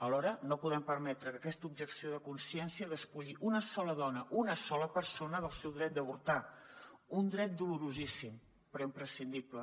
alhora no podem permetre que aquesta objecció de consciència despulli una sola dona una sola persona del seu dret d’avortar un dret dolorosíssim però imprescindible